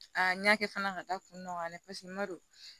A n y'a kɛ fana ka taa kun dɔ de n ma don